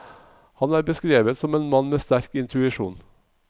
Han er beskrevet som en mann med sterk intuisjon.